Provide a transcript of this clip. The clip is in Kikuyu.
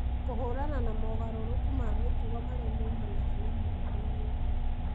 kũhũrana na mogarũrũku ma mĩtugo marĩa maumanaga na mũrimũ ũyũ